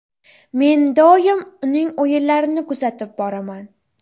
Men doim uning o‘yinlarini kuzatib boraman.